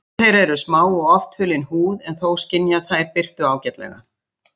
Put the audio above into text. Augu þeirra eru smá og oft hulin húð en þó skynja þær birtu ágætlega.